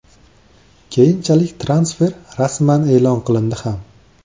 Keyinchalik transfer rasman e’lon qilindi ham.